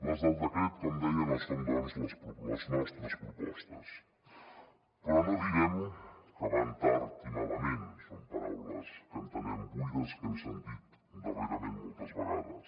les del decret com deia no són doncs les nostres propostes però no direm que van tard i malament són paraules que entenem buides que hem sentit darrerament moltes vegades